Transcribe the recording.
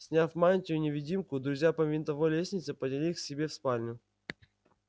сняв мантию-невидимку друзья по винтовой лестнице поднялись к себе в спальню